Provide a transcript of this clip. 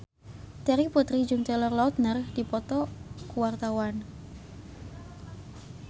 Terry Putri jeung Taylor Lautner keur dipoto ku wartawan